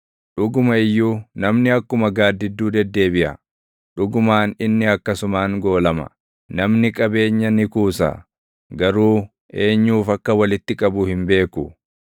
Dhuguma iyyuu namni akkuma gaaddidduu deddeebiʼa; dhugumaan inni akkasumaan goolama; namni qabeenya ni kuusa; garuu eenyuuf akka walitti qabu hin beeku.